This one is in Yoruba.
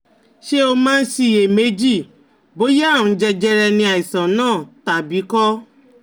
Ṣé o máa ń ṣiyè méjì bóyá àrùn jẹjẹrẹ ni àìsàn náà tàbí kò?